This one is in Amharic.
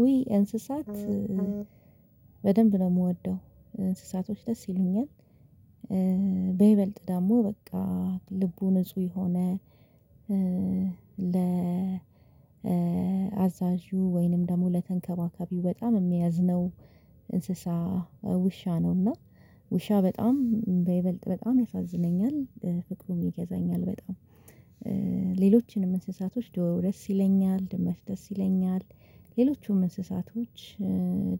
ውይ እንስሳት በደንብ ነው የምወደው። እንስሳቶች ደስ ይሉኛል በይበልጥ ደግሞ በቃ ልቡ ንጹህ የሆነ፤ ለ አዛዡ ወይንም ደግሞ ለተንከባከቢው በጣም የሚያዝነው፤ እንስሳ ውሻ ነውና ውሻ በጣም በይበልጥ በጣም ያሳዝነኛል ፍቅሩም ይገዛኛል በጣም። ሌሎችንም እንስሳቶች ዶሮ ደስ ይለኛል፤ ድመት ደስ ይለኛል፤ ሌሎቹም እንስሳቶች